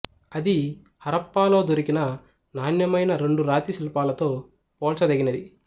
అది హరప్పాలో దొరికిన నాణ్యమైన రెండు రాతి శిల్పాలతో పోల్చదగినది